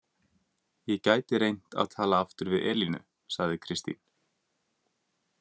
Ég gæti reynt að tala aftur við Elínu, sagði Kristín.